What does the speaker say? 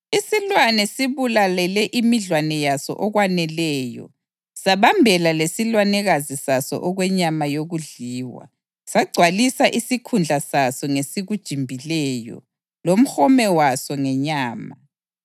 Isilwane sibulalele imidlwane yaso okwaneleyo sabambela lesilwanekazi saso okwenyama yokudliwa, sagcwalisa isikhundla saso ngesikujimbileyo lomhome waso ngenyama.